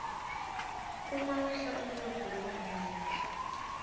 umawehla umnotfo kuba nendlala